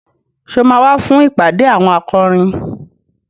Ṣé o máa wá fún ìpàdé àwọn akọrin?